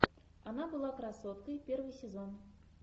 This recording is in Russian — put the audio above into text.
она была красоткой первый сезон